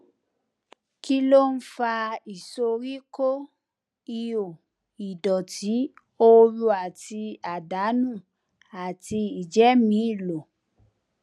kí ló ń fa ìsoríkó ìho ìdòtí òru àti àdánù àti ìjẹmìílò